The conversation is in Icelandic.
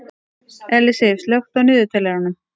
Ellisif, slökktu á niðurteljaranum.